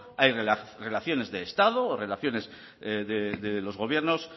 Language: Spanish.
hay relaciones de estado o relaciones de los gobiernos